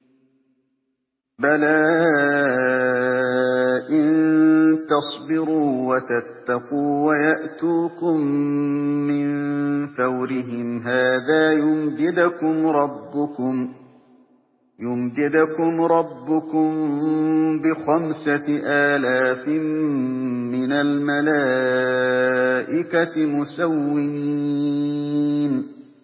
بَلَىٰ ۚ إِن تَصْبِرُوا وَتَتَّقُوا وَيَأْتُوكُم مِّن فَوْرِهِمْ هَٰذَا يُمْدِدْكُمْ رَبُّكُم بِخَمْسَةِ آلَافٍ مِّنَ الْمَلَائِكَةِ مُسَوِّمِينَ